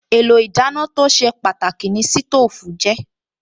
Èlò ìdáná tó ṣe pàtàkì ni sítóòfù jẹ́